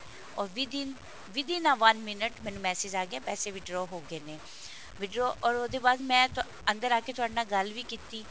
or within within a one minute message ਆ ਗਿਆ ਪੈਸੇ withdraw ਹੋ ਗਏ ਨੇ withdraw or ਉਹਦੇ ਬਾਅਦ ਮੈਂ ਅੰਦਰ ਆਕੇ ਤੁਹਾਡੇ ਨਾਲ ਗੱਲ ਵੀ ਕੀਤੀ